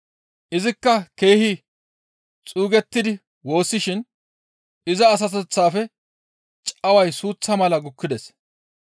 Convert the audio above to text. Izikka keehi xuugettidi woossishin iza asateththaafe caway suuththa mala gukkides.